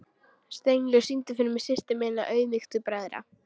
Steinlaug, syngdu fyrir mig „Systir minna auðmýktu bræðra“.